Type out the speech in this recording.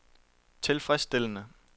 tilfredsstillende